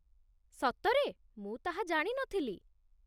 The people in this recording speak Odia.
ସତରେ? ମୁଁ ତାହା ଜାଣି ନଥିଲି !